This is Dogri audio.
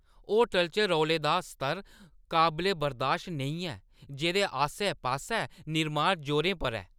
होटलै च रौले दा स्तर काबले-बर्दाश्त नेईं ऐ, जेह्दे आस्सै-पास्सै निर्माण जोरें पर ऐ।